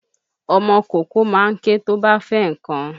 Ọmọ kókó ma ń ké tó bá fẹ́ nnkan.